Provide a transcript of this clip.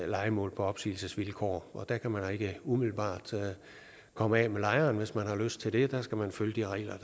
lejemål på opsigelsesvilkår og der kan man ikke umiddelbart komme af med lejeren hvis man har lyst til det der skal man følge de regler